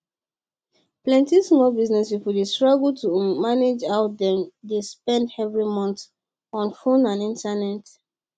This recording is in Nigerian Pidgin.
plenty small business people dey struggle to um manage how dem dey spend every month on fone and internet